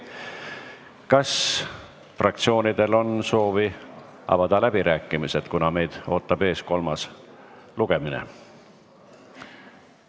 Kas fraktsioonidel on soovi avada läbirääkimised, kuna meid ootab ees kolmas lugemine?